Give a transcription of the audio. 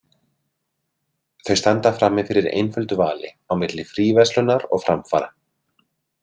Þau standa frammi fyrir einföldu vali á milli fríverslunar og framfara.